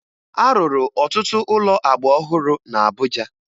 A rụrụ ọtụtụ ụlọ agba ọhụrụ na Abuja